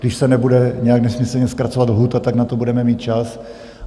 Když se nebude nějak nesmyslně zkracovat lhůta, tak na to budeme mít čas.